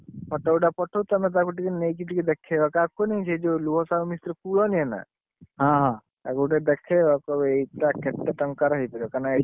Photo ଗୁଟେ ପଠଉଛି ତମେ ତାକୁ ଟିକେ ନେଇକି ଦେଖେଇବ ସାହୁ ମିସ୍ତ୍ରୀ ପୁଅ ନୁହେଁ ନା କହିବ ଏଇଟା କେତେ ଟଙ୍କା ର ହେଇଥିବ? ତାକୁ ଟିକେ ଦେଖେଇବ କହିବ ଏଇଟା କେତେ ଟଙ୍କା ର ହେଇଥିବ।